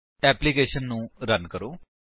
application ਨੂੰ run ਕਰੋ